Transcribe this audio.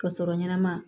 Ka sɔrɔ ɲɛnɛma